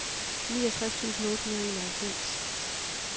niogtres tusind otte hundrede og enoghalvfems